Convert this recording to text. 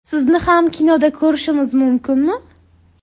Sizni yana kinoda ko‘rishimiz mumkinmi?